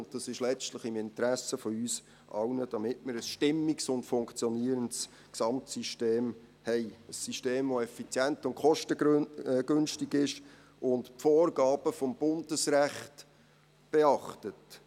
Es ist letztlich im Interesse von uns allen, dass wir ein stimmiges und funktionierendes Gesamtsystem haben, ein System, das effizient und kostengünstig ist und die Vorgaben des Bundesrechts beachtet.